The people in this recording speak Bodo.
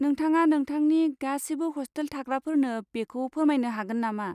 नोंथाङा नोंथांनि गासिबो ह'स्टेल थाग्राफोरनो बेखौ फोरमायनो हागोन नामा?